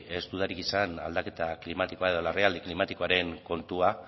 ez dudarik izan aldaketa klimatikoa edo larrialdi klimatikoaren kontua